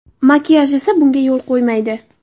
Makiyaj esa bunga yo‘l qo‘ymaydi.